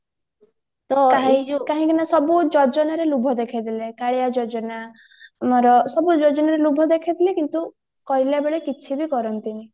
କାହିଁକିନା ସବୁ ଯୋଜନାରେ ଲୋଭ ଦେଖେଇଦେଲେ କାଳିଆ ଯୋଜନା ସବୁ ଯୋଜନାରେ ଲୋଭ ଦେଖେଇଦେଲେ କିନ୍ତୁ କରିଲାବେଳେ କିଛି ବି କରନ୍ତିନି